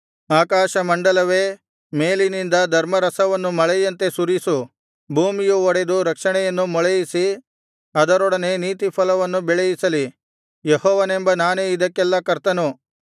ಆಕಾಶಮಂಡಲವೇ ಮೇಲಿನಿಂದ ಧರ್ಮರಸವನ್ನು ಮಳೆಯಂತೆ ಸುರಿಸು ಭೂಮಿಯು ಒಡೆದು ರಕ್ಷಣೆಯನ್ನು ಮೊಳೆಯಿಸಿ ಅದರೊಡನೆ ನೀತಿಫಲವನ್ನು ಬೆಳೆಯಿಸಲಿ ಯೆಹೋವನೆಂಬ ನಾನೇ ಇದಕ್ಕೆಲ್ಲಾ ಕರ್ತನು